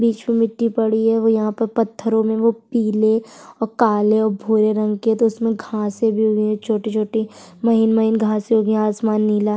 बिच में मिट्टी पड़ी है वो यहाँ पर पत्थरो में वो पिले और काले और भूरे रंग के तो इसमें घासे भी हुए है छोटी-छोटी महीन-महीन घासें वो भी आसमान नीला --